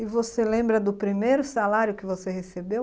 E você lembra do primeiro salário que você recebeu?